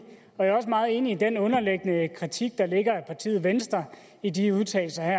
og jeg er også meget enig i den underliggende kritik der ligger af partiet venstre i de udtalelser her